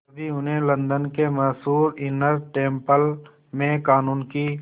तभी उन्हें लंदन के मशहूर इनर टेम्पल में क़ानून की